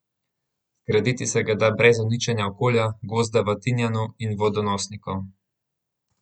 Zgraditi se ga da brez uničenja okolja, gozda v Tinjanu in vodonosnikov.